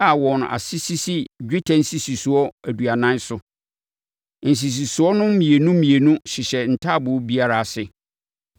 a wɔn ase sisi dwetɛ nsisisoɔ aduanan so. Nsisisoɔ no mmienu mmienu hyehyɛ taaboo biara ase.